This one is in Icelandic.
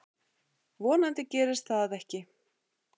Vonandi gerist það ekki.